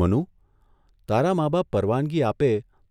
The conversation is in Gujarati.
મનુ, તારા મા બાપ પરવાનગી આપે